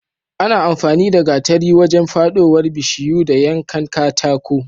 Ana amfani da gatari wajen fadowar bishiyu da yankan katako